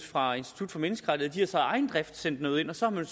fra institut for menneskerettigheder så af egen drift sendt noget ind og så har